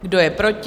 Kdo je proti?